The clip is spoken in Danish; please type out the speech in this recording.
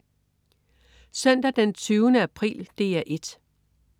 Søndag den 20. april - DR 1: